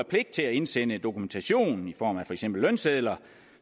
pligt til at indsende dokumentation i form af for eksempel lønsedler